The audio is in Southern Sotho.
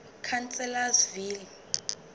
chancellorsville